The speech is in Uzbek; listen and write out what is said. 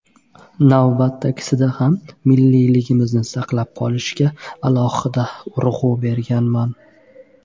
Navbatdagisida ham milliyligimizni saqlab qolishga alohida urg‘u berganman”.